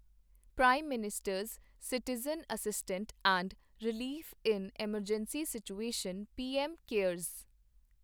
prime minister's citizen assistance and relief in emergency situation PM cares